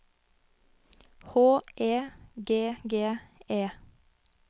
H E G G E